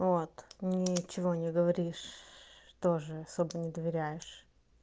вот ничего не говоришь что же собой не доверяешь